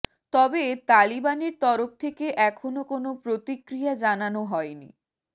তবে তালিবানের তরফ থেকে এখনও কোনও প্রতিক্রিয়া জানানো হয়নি